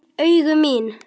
Augu mín.